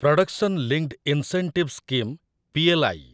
production linked incentive scheme PLI